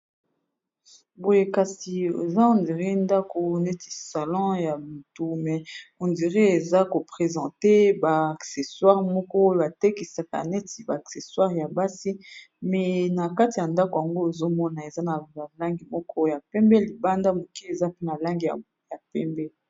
Boye kati eza ndako neti salon ya moto mais on dire eza KO présente ba accessoires moko batekisa ya basi mais nakati yandako ozomona na ba langi ya moko pembe pe na libanda ndenge wana.